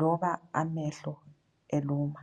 loba amehlo eluma.